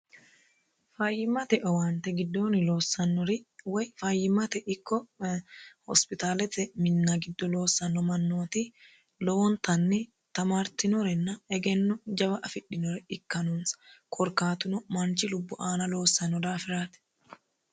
fayyimmate owaante giddooni loossannori woy fayyimmate ikko hospitaalete minna giddo loossanno mannooti lowontanni tamartinorenna egenno jawa afidhinore ikka noonsa korkaatuno manchi lubbu aana loossanno daafiraati